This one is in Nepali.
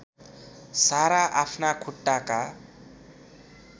सारा आफ्ना खुट्टाका